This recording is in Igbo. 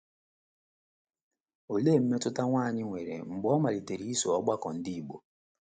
Olee mmetụta otu nwanyị nwere mgbe ọ malitere iso ọgbakọ Ndị Igbo?